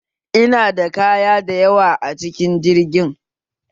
Ina da kaya da yawa a cikin jirgin kayan